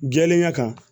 Jɛlenya kan